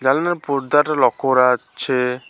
এখানে পর্দাটা লক্ষ করা যাচ্ছে।